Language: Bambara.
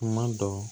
Kuma dɔ